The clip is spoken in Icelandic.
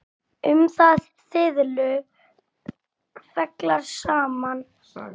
Um þá fiðlu fjallar sagan.